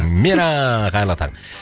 мира қайырлы таң